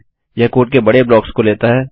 यह कोड के बड़े ब्लाक्स को लेता है